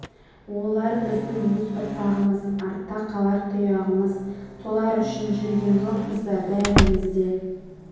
олар біздің өз ұрпағымыз артта қалар тұяғымыз солар үшін жүрген жоқпыз ба бәріміз де